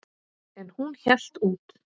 En hún hélt út.